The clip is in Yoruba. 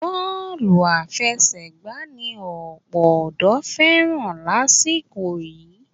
Bọ́ọ̀lù àfẹsẹ̀gbà ni ọ̀pọ̀ ọ̀dọ́ fẹ́ràn lásìkò yìí